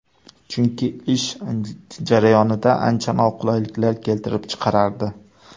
Chunki ish jarayonida ancha noqulayliklar keltirib chiqarardi.